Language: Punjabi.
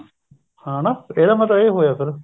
ਹਾਂ ਹਨਾ ਇਹਦਾ ਮਤਲਬ ਇਹ ਹੋਇਆ ਫੇਰ